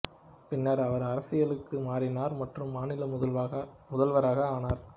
பின்னர் அவர் அரசியலுக்கு மாறினார் மற்றும் மாநில முதல்வராக ஆனார்